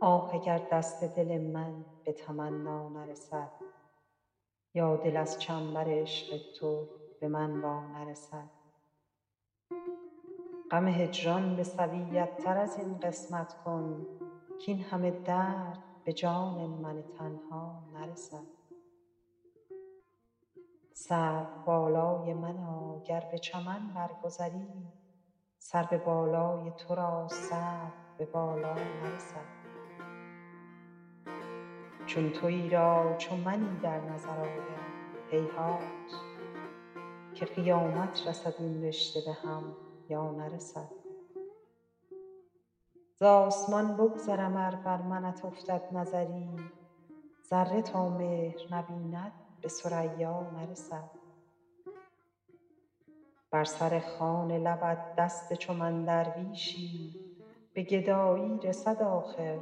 آه اگر دست دل من به تمنا نرسد یا دل از چنبر عشق تو به من وا نرسد غم هجران به سویت تر از این قسمت کن کاین همه درد به جان من تنها نرسد سروبالای منا گر به چمن بر گذری سرو بالای تو را سرو به بالا نرسد چون تویی را چو منی در نظر آید هیهات که قیامت رسد این رشته به هم یا نرسد زآسمان بگذرم ار بر منت افتد نظری ذره تا مهر نبیند به ثریا نرسد بر سر خوان لبت دست چو من درویشی به گدایی رسد آخر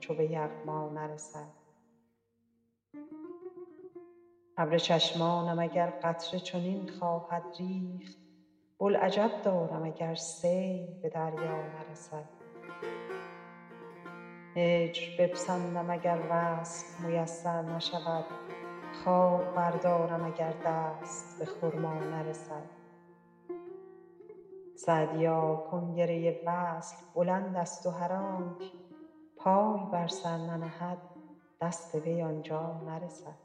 چو به یغما نرسد ابر چشمانم اگر قطره چنین خواهد ریخت بوالعجب دارم اگر سیل به دریا نرسد هجر بپسندم اگر وصل میسر نشود خار بردارم اگر دست به خرما نرسد سعدیا کنگره وصل بلندست و هر آنک پای بر سر ننهد دست وی آن جا نرسد